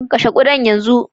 kashe ƙudan yanzu!